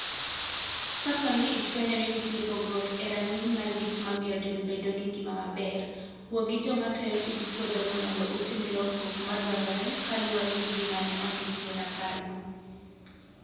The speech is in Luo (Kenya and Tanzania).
Kapo ni ifwenyo ni nitie pogruok e rang'iny mar gik mamiyo del bedo gi ngima maber, wuo gi joma tayo tij puodhono mondo utim lokruok ma dwarore kaluwore gi gima ne ondiki e raparno.